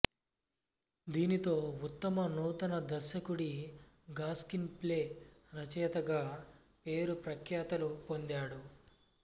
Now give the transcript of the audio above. దీనితో ఉత్తమ నూతన దర్శకుడి గాస్క్రీన్ ప్లే రచయిత గా పేరు ప్రఖ్యాతులు పొందాడు